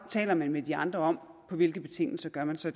taler man med de andre om på hvilke betingelser man så